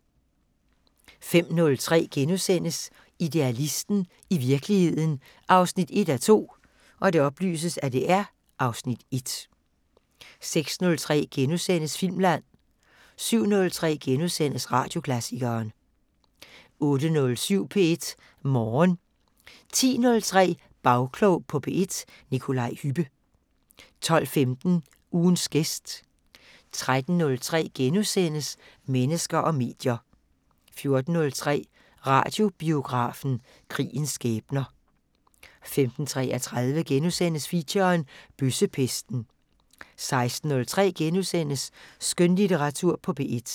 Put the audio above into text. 05:03: Idealisten – i virkeligheden 1:2 (Afs. 1)* 06:03: Filmland * 07:03: Radioklassikeren * 08:07: P1 Morgen 10:03: Bagklog på P1: Nikolaj Hübbe 12:15: Ugens gæst 13:03: Mennesker og medier * 14:03: Radiobiografen: Krigens skæbner 15:33: Feature – Bøssepesten * 16:03: Skønlitteratur på P1 *